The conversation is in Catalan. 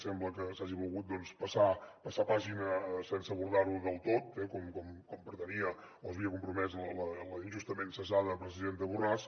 sembla que s’hagi volgut passar pàgina sense abordar ho del tot com pretenia o s’havia compromès la injustament cessada presidenta borràs